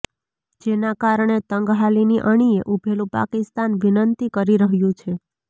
જેના કારણે તંગહાલીની અણિએ ઉભેલું પાકિસ્તાન વિનંતી કરી રહ્યું છે